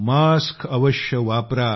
mask अवश्य वापरा